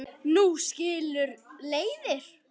Nú skilur leiðir.